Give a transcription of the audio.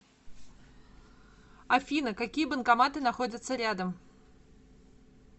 афина какие банкоматы находятся рядом